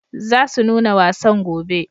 Za su nuna wasan gobe.